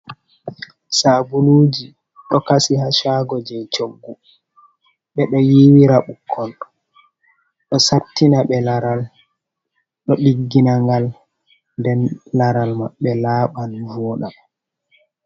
Sabuluji ɗo kasi ha cago je coggu, ɓe ɗo yiwira ɓukkoi ɗo sattina ɓe laral, ɗo diggina ngal, den laral maɓe laɓan voɗa.